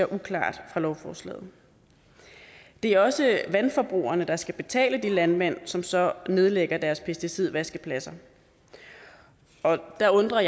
uklart i lovforslaget det er også vandforbrugerne der skal betale de landmænd som så nedlægger deres pesticidvaskeladser der undrer